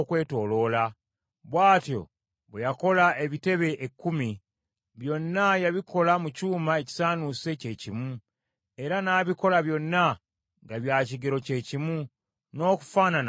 Bw’atyo bwe yakola ebitebe ekkumi. Byonna yabikola mu kyuma ekisaanuuse kyekimu, era n’abikola byonna nga bya kigero kyekimu, n’okufaanana nga bifaanana.